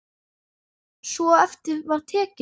Svo eftir var tekið.